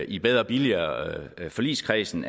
i bedre og billigere forligskredsen